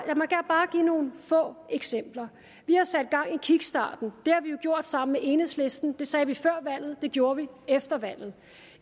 give nogle få eksempler vi har sat gang i kickstarten det har vi jo gjort sammen med enhedslisten det sagde vi før valget det gjorde vi efter valget